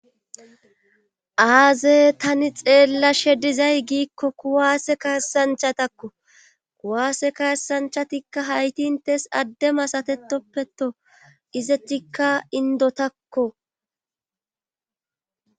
Aaze tani xeella shedizay giikko kuwaase kaassanchatakko kuwaase kaassanchatikka haytintes addema satetoppeto izetikka indotakko.